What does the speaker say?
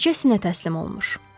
Bircə sinə təslim olmur.